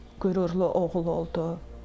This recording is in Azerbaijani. qürurlu oğul oldu.